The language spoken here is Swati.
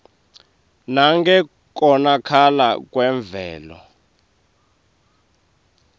nangekonakala kwemvelo